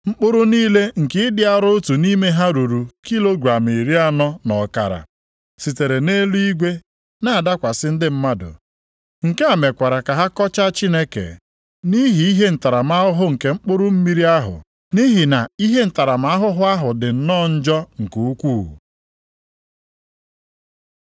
Mkpụrụ mmiri nke ịdị arọ otu nʼime ha ruru kilogram iri anọ na ọkara, sitere nʼeluigwe na-adakwasị ndị mmadụ. Nke a mekwara ka ha kọchaa Chineke nʼihi ihe ntaramahụhụ nke mkpụrụ mmiri ahụ, nʼihi na ihe ntaramahụhụ ahụ dị nnọọ njọ nke ukwuu.